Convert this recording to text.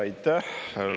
Aitäh!